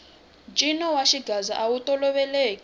ncino wa xigaza awu toloveleki